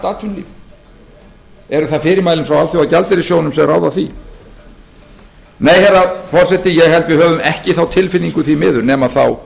atvinnulíf eru það fyrirmælin frá alþjóðagjaldeyrissjóðnum sem ráða því nei herra forseti ég held að við höfum ekki þá tilfinningu því miður nema þá